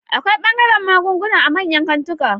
Akwai ɓangaren magunguna a manyan kantika